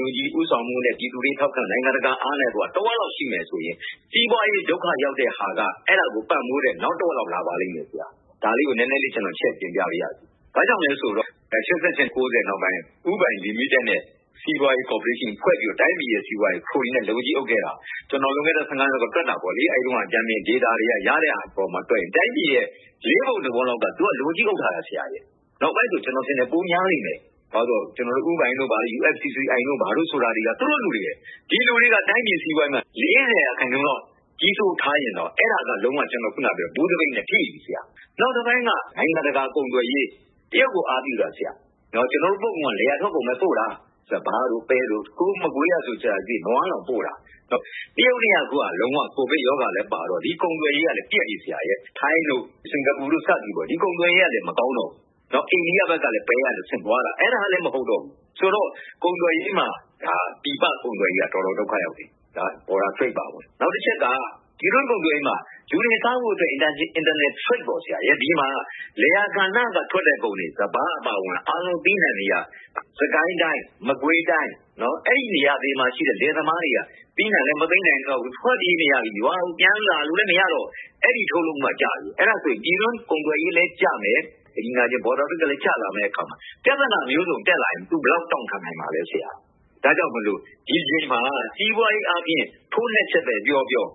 NUG ဦးဆောင်မှုနဲ့ ပြည်သူတွေ ထောက်ခံအားနဲ့ နိုင်ငံတကာထောက်ခံမှုနဲ့ တစ်ဝက်လောက် ရှိမယ်ဆိုရင် စီးပွားရေး ဒုက္ခရောက်တဲ့ဟာက အဲဒါကို ပံ့ပိုးတဲ့… လာပါလိမ့်မယ်။ ဒါလေးကို ကျနော် နည်းနည်းလေးချဲ့ပြောပါမယ်။ ဘာကြောင့်လဲဆိုတော့ ၈၈၊ ၉၀ နောက်ပိုင်း ဦးပိုင်လီမီတက်နဲ့ စီးပွားရေးကော်ပိုးရေးရှင်း ဖွဲ့စည်းပြီးတော့ တိုင်းပြည်ရဲ့ စီးပွားရေးကို ခရိုနီတွေက လက်ဝါးကြီးအုပ်ခဲ့တာ ကျနော် လွန်ခဲ့တဲ့ နှစ်လောက်က တွက်တာပေါ့။ အဲဒီတုန်းက ဂျာနယ်ဒေတာတွေက ရခဲ့တဲ့အပေါ်မှာ တွက်ရင် တိုင်းပြည်ရဲ့ လေးပုံတစ်ပုံလောက်ကို သူတို့က လက်ဝါးကြီးအုပ်ထားတာ။ နောက်ပိုင်း ကျနော်ထင်တယ် ပိုများလိမ့်မယ်။ ဘာကြောင့်လဲဆိုတော့ ဦးပိုင်တို့၊ USCCI တို့ဆိုတာ သူတို့လူတွေပဲ။ ဒီလူတွေက တိုင်းပြည်စီးပွားရေးမှာ လေးဆယ်ရာခိုင်နှုန်းလောက် ထားရင်တော့ အဲဒါက ‘ဘူးသပိတ်’ နဲ့ ထိပြီ။ နောက်တစ်ပိုင်းက နိုင်ငံတကာ ကုန်သွယ်ရေး။ တရုတ်ကို အားပြုတာ။ ကျနော်တို့ထွက်ကုန်က လယ်ယာထုတ်ကုန်ကိုပဲ အားပြုတာ။ စပါး၊ ပဲ၊ မကွေးဘက်မှာဆို နွားတောင်ပို့တာ။ တရုတ်နဲ့က အခုက ကိုဗစ်ရောဂါလည်းပါတော့ ကုန်သွယ်ရေးက ပျက်နေတယ်။ ထိုင်း၊ စင်္ကာပူတို့ ဒီကုန်သွယ်ရေးတွေလည်း မကောင်းတော့ဘူး။ အိန္ဒိယဘက်ကလည်း ပဲပို့တာ အဲဒါကလဲ မဟုတ်တော့ဘူးဆိုတော့ ပြည်ပကုန်သွယ်ရေးက တော်တော်ဒုက္ခရောက်နေပြီ။ နယ်စပ်ကုန်သွယ်ရေး အပါဝင်။ နောက်တစ်ချက်က ပြည်တွင်းကုန်သွယ်ရေးမှာ လူတွေစားဖို့အတွက် နိုင်ငံတကာနဲ့ ကုန်သွယ်မှုမှာ လယ်ယာကဏ္ဍကထွက်တဲ့ ကုန်တွေ စပါးအပါအဝင် အသီးအနံှတွေက စစ်ကိုင်းတိုင်း၊ မကွေးတိုင်း၊ အဲဒီနေရာတွေမှာရှိတဲ့ လယ်သမားတွေက သီးနံှလည်း မသိမ်းနိုင်တော့ဘူး။ ထွက်ပြေးနေရပြီ။ ရွာကိုပြန်လာလို့လည်း မရတော့၊ အဲဒီထုတ်လုပ်မှုက ကျနေပြီ။ အဲဒါဆို ပြည်တွင်းကုန်သွယ်ရေးလည်း ကျမယ်။ နယ်စပ်ကုန်သွယ်ရေးလည်း ကျလာမယ့်အခါမှာ ပြဿနာပေါင်းစုံ တက်လာရင် သူ ဘယ်လောက်တောင့်ခံနိုင်မလဲ။ ဒါကြောင့်မို့ ဒီအချိန်မှာ စီးပွားရေးအားဖြင့် ထိုးနှက်ချက်ပဲပြောပြော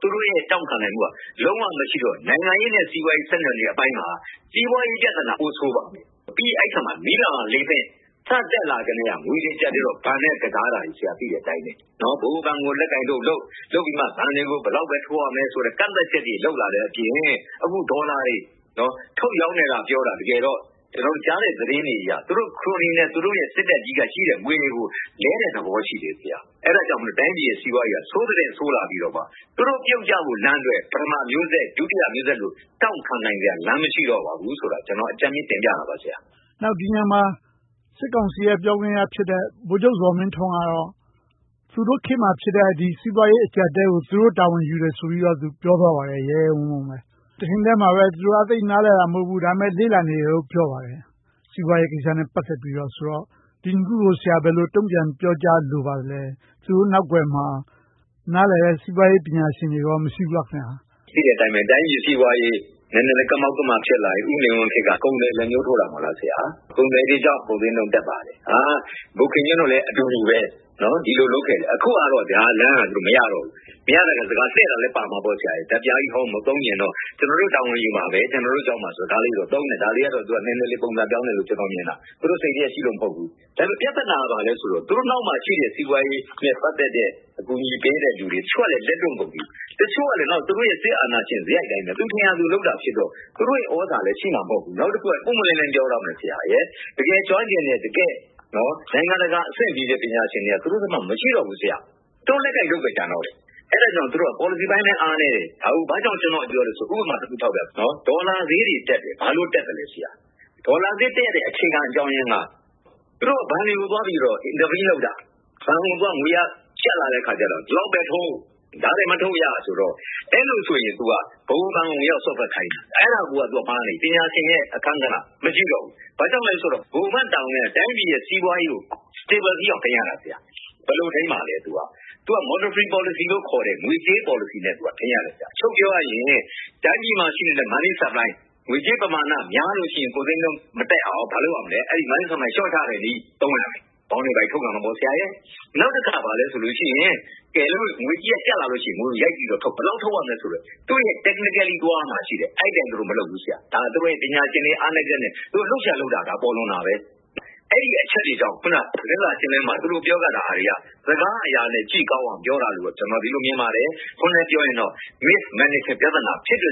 သူတို့ရဲ့ တောင့်ခံနိုင်မှုက လုံးဝမရှိတော့ နိုင်ငံရေးနဲ့ စီးပွားရေး ဆက်နွှယ်နေမှုအပိုင်းမှာ စီးပွားရေးပြဿနာ ပိုဆိုးသွားမယ်။ ပြီးတော့ အဲဒီနေရာမှာ မီးလောင်းရာလေပင့် စတက်လာကတည်းက ငွေအကျပ်အတည်းနဲ့ ဘဏ်တွေနဲ့ ကစားတာတွေကို သိတဲ့အတိုင်းပဲ၊ ဗဟိုဘဏ်ကို လက်ကိုင်တုတ်လုပ်၊ လုပ်ပြီးမှ ဘဏ်တွေကို ဘယ်လောက်လာဘ်ထိုးရမယ်ဆိုတဲ့ ကန့်သတ်ချက်တွေ လုပ်လာတဲ့အပြင် အခု ဒေါ်လာတွေ ထုတ်ရောင်းနေတယ်လို့သာ ပြောတာ၊ တကယ်တော့ ကျနော်တို့ ကြားနေရတဲ့ သတင်းတွေအရ သူတို့ ခရိုနီနဲ့ စစ်တပ်က ရှိတဲ့ငွေတွေကို လဲလှယ်နေတဲ့သဘော ရှိတယ်။ အဲဒီအတွက် တိုင်းပြည်ရဲ့ စီးပွားရေးက ဆိုးသထက်ဆိုးလာပြီတော့ သူတို့ပြုတ်ကျဖို့အတွက် ပထမမျိုးဆက်၊ ဒုတိယမျိုးဆက်လို တောင့်ခံနိုင်စရာ လမ်းမရှိတော့ဘူးဆိုတာကို အကြမ်းမျဉ်းတင်ပြတာပါ။ ဒီနေရာမှာ စစ်ကောင်စီရဲ့ ပြောခွင့်ရဖြစ်တဲ့ ဗိုလ်ချုပ်ဇော်မင်းထွန်းကတော့ သူတို့ခေတ်မှာဖြစ်တဲ့ စီးပွားရေးအကျပ်အတည်းကို သူတို့တာဝန်ယူတယ်ဆိုပြီးတော့ ပြောသွားပါတယ်။ ရဲရဲဝံ့ဝံ့ပဲ။ တချိန်တည်းမှာပဲ သူတို့က သိပ်နားလည်တာ မဟုတ်ဘူး၊ လေ့လာနေပါတယ်လို့ ပြောပါတယ်။ စီးပွားရေးကိစ္စနဲ့ ပတ်သက်ပြီးတော့ဆိုတော့ ဒီနှစ်ခုကို ဆရာ ဘယ်လိုတုံ့ပြန်ပြောကြားလိုပါသလဲ။ သူတို့နောက်ကွယ်မှာ နားလည်တဲ့ စီးပွားရေးပညာရှင်တွေ မရှိဘူးလား။ သိတဲ့အတိုင်းပဲ တိုင်းပြည်စီးပွားရေး နည်းနည်းကမောက်ကမ ဖြစ်လာပြီ၊ ဦးနေဝင်းခေတ်က ကုန်သည်လက်ညှိုးထိုးတာပဲ။ ကုန်သည်တွေကြောင့် ကုန်ဈေးနှုန်း တက်ပါတယ်။ ဗိုလ်ခင်ညွှန့်တို့လည်း အတူူတူပဲ။ ဒီလိုလုပ်ခဲ့တယ်။ အခုဟာကတော့ အဲဒီလမ်းက မရတော့ဘူး။ မရတော့ စကားလှည့်တာလဲပါမှာပေါ့။ ဓါတ်ပြားဟောင်းကြီး မသုံးချင်တော့ ကျနော်တို့ တာဝန်ယူပါမယ်။ ကျနော်တို့ကြောင့်ပါဆိုတာ သုံးတယ်။ ဒါလေးကတော့ နည်းနည်းလေး ပုံစံပြောင်းတယ်လို့ ကျနော်မြင်တာ။ သူတို့စိတ်ထဲရှိလို့ မဟုတ်ဘူး။ ဒါပေမဲ့ ပြဿနာက ဘာလဲဆိုတော့ သူတို့နောက်မှာရှိတဲ့ စီးပွားရေးနဲ့ ပတ်သက်တဲ့ အကူအညီပေးတဲ့လူတွေ။ တချို့ကလဲ လက်တွန့်ကုန်ပြီ။ တချို့ကလဲ သူတို့ရဲ့ စစ်အာဏာရှင်စရိုက်အတိုင်း ထင်ရာလုပ်တာဖြစ်တော့ သူတို့ရဲ့ သြဇာလည်းရှိမှာ မဟုတ်ဘူး။ နောက်တစ်ခုက ပွင့်ပွင့်လင်းလင်း ပြောရရင် တကယ်ကျွမ်းကျင်တဲ့၊ တကယ့်နိုင်ငံတကာအဆင့်မီတဲ့ ပညာရှင်တွေက သူတို့ဘက်မှာ မရှိတော့ဘူး။ သူတို့ လက်ကိုင်တုတ်ပဲ ကျန်တော့တယ်။ အဲဒါကြောင့် သူတို့က ပေါ်လစီပိုင်းလည်း အားနည်းတယ်။ ဒါကို ဘာကြောင့် ကျနော်က ပြောလဲဆိုရင် ဥပမာတစ်ခု ထောက်ပြမယ်။ ဒေါ်လာဈေးတွေတက်တယ်။ ဘာလို့တက်သလဲဆိုတော့ ဒေါ်လာဈေးတက်တဲ့ အခြေခံအကြောင်းရင်းက သူတို့က ဘဏ်တွေကိုသွားပြီးတော့ လာဘ်ပေးလုပ်တာ။ ဘဏ်တွေက ငွေအားကျပ်လာတဲ့အခါကြတော့ ဒီလောက်ပဲထုတ်၊ ဒါထက်မထုတ်ရဆိုတော့ အဲဒါဆိုရင် ဗဟိုဘဏ်ကို ဝင်ရောက်စွက်ဖက်ခိုင်းတယ်။ အဲဒါကိုက မှားနေပြီ။ ပညာရှင်ရဲ့ အခန်းကဏ္ဍ မရှိတော့ဘူး။ ဘာကြောင့်လဲဆိုတော့ ဗဟိုဘဏ်တာဝန်က တိုင်းပြည်ရဲ့ စီးပွားရေးကို stable ဖြစ်အောင် ထိန်းရတာ။ ဘယ်လိုထိန်းမလဲ။ သူက monetary policy လို့ခေါ်တဲ့ ငွေကြေးပေါ်လစီနဲ့ ထိန်းရတယ်။ အချုပ်ပြောရရင် တိုင်းပြည်မှာရှိတဲ့ money supply ငွေကြေးပမာဏ များလို့ရှိရင် ကုန်ဈေးနှုန်းမတက်အောင် ဘာလုပ်ရမလဲ။ money supply ကို လျှော့ချတဲ့နည်းကို သုံးရတယ်။ Bond တွေ ဘာတွေထုတ်ရောင်းရတယ်။ နောက်တစ်ခါ ဘယ်လိုလုပ်လဲဆိုရင် ငွေကြေးကျပ်လာလို့ရှိရင် ငွေကိုရိုက်ပြီးတော့ထုတ်။ ဘယ်လောက်ထုတ်ရမလဲဆိုတာ technically သွားရမှာ ရှိတယ်။ သူတို့မလုပ်ဘူး။ အဲဒါ သူတို့ရဲ့ ပညာရှင်တွေ အားနည်းချက်နဲ့ သူတို့လုပ်ချင်ရာလုပ်တာ ပေါ်လွင်တာပဲ။ အဲဒီအချက်တွေကြောင့် အခုန သတင်းစာရှင်းလင်းပွဲမှာ သူတို့ပြောခဲ့တာတွေက စကားအရာနဲ့ ကြည့်ကောင်းအောင် ပြောတာလို့ပဲ မြင်ပါတယ်။ တစ်ခွန်းတည်းနဲ့ ပြောရရင်တော့ mismanagement ပြဿနာ ဖြစ်တဲ့